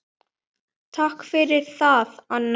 Takk fyrir það, Anna mín.